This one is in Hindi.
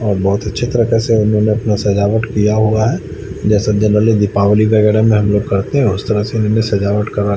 अ बहोत अच्छी तरीके से उन्होंने अपना सजावट किया हुआ है जेसा दीपावली अग हम हम लोग करते है उस तरह से इमे सजावट करा--